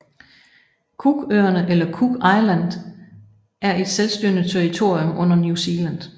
Cookøerne eller Cook Islands er et selvstyrende territorium under New Zealand